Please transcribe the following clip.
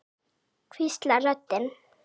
hvíslar röddin.